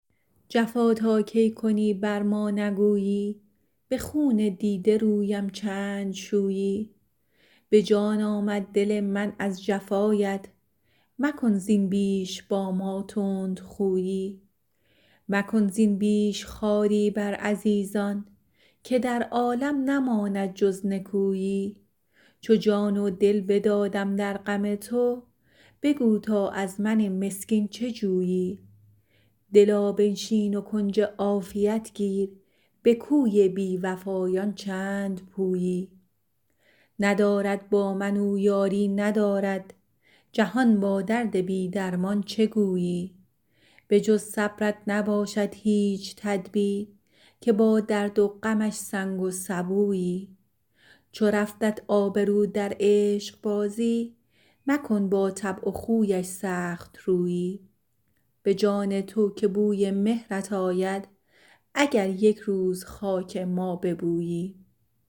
جفا تا کی کنی بر ما نگویی به خون دیده رویم چند شویی به جان آمد دل من از جفایت مکن زین بیش با ما تندخویی مکن زین بیش خواری بر عزیزان که در عالم نماند جز نکویی چو جان و دل بدادم در غم تو بگو تا از من مسکین چه جویی دلا بنشین و کنج عافیت گیر به کوی بی وفایان چند پویی ندارد با من او یاری ندارد جهان با درد بی درمان چه گویی بجز صبرت نباشد هیچ تدبیر که با درد و غمش سنگ و سبویی چو رفتت آبرو در عشق بازی مکن با طبع و خویش سخت رویی به جان تو که بوی مهرت آید اگر یک روز خاک ما ببویی